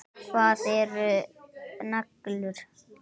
Hvað eru neglur?